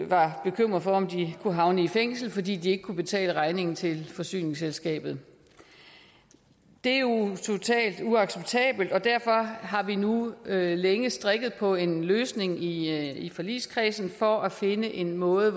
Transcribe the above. var bekymret for om de kunne havne i fængsel fordi de ikke kunne betale regningen til forsyningsselskabet det er jo totalt uacceptabelt og derfor har vi nu længe strikket på en løsning i i forligskredsen for at finde en måde